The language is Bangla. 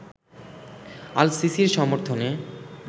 আল-সিসির সমর্থনে